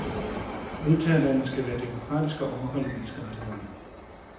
Modtagerlandet skal være demokratisk og overholde menneskerettighederne.